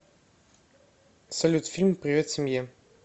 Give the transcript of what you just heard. салют фильм привет семье